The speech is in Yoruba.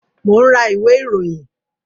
Mo ń ra ìwé ìròyìn